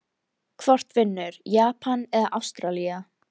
Hvort vinnur Japan eða Ástralía???